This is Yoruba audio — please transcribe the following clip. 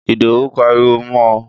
Ìdòwú pariwo mọ ò